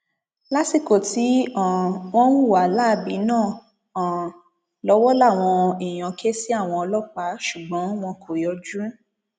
lásìkò tí um wọn ń hùwà láabi náà um lọwọ làwọn èèyàn ké sí àwọn ọlọpàá ṣùgbọn wọn kò yọjú